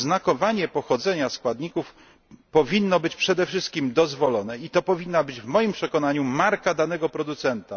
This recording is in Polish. Oznakowanie pochodzenia składników powinno być przede wszystkim dozwolone i to powinna być, w moim przekonaniu, marka danego producenta.